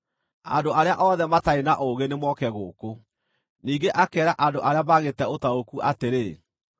“Andũ arĩa othe matarĩ na ũũgĩ nĩmoke gũkũ!” Ningĩ akeera andũ arĩa maagĩĩte ũtaũku atĩrĩ,